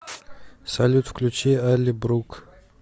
салют включи алли брук